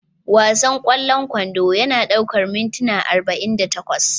Wasan ƙwallon kwando yana ɗaukar mintuna arba'in da takwas